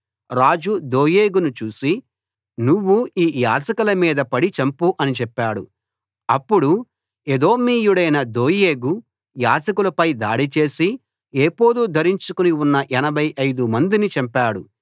రాజు దోయేగును చూసి నువ్వు ఈ యాజకుల మీద పడి చంపు అని చెప్పాడు అప్పుడు ఎదోమీయుడైన దోయేగు యాజకుల పై దాడిచేసి ఏఫోదు ధరించుకుని ఉన్న 85 మందిని చంపాడు